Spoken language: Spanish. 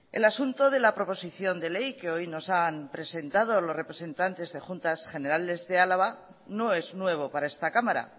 el asunto de la proposición de ley que hoy nos han presentado los representantes de juntas generales de álava no es nuevo para esta cámara